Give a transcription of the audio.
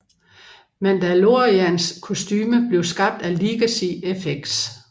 Mandalorians kostume blev skabt af Legacy Effects